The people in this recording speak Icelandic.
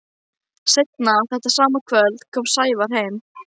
Seinna þetta sama kvöld kom Sævar heim.